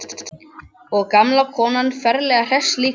Og gamla konan ferlega hress líka.